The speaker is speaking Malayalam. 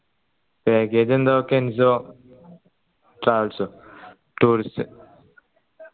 package എന്തോ കെൻസോ travels tourist